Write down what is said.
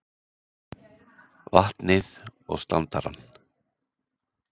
vatnið og standarann.